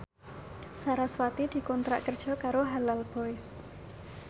sarasvati dikontrak kerja karo Halal Boys